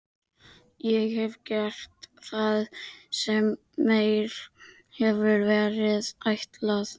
Ég hef gert það sem mér hefur verið ætlað.